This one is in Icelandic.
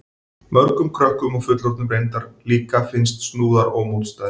Mörgum krökkum og fullorðnum reyndar líka finnast snúðar ómótstæðilegir.